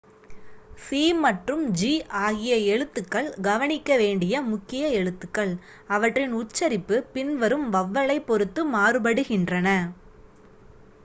c மற்றும் g ஆகிய எழுத்துக்கள் கவனிக்க வேண்டிய முக்கிய எழுத்துக்கள் அவற்றின் உச்சரிப்பு பின்வரும் வவ்வலைப் பொறுத்து மாறுபடுகின்றன